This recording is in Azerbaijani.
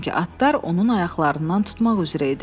Çünki atlar onun ayaqlarından tutmaq üzrə idi.